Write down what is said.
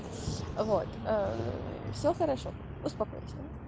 вот всё хорошо успокойся